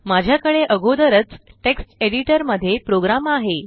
माझ्याकडे अगोदरच text editor मध्ये प्रोग्राम आहे